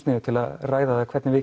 niður til að ræða hvernig við